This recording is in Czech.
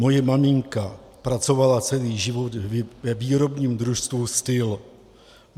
Moje maminka pracovala celý život ve výrobním družstvu Styl.